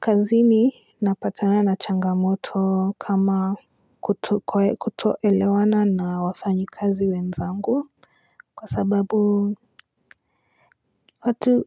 Kazini ninapatana na changamoto kama kutoelewana na wafanyikazi wenzangu Kwa sababu